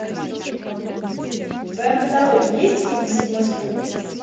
в твоем каталоге есть фильм седьмой спутник